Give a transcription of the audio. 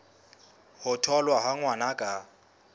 ho tholwa ha ngwana ka